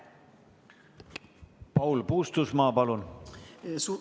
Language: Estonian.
Paul Puustusmaa, palun!